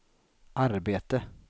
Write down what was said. arbete